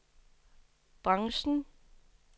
branchen